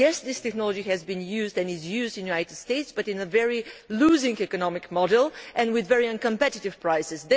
Yes, this technology has been used and is used in the United States, but in a loss making economic model and with very uncompetitive prices.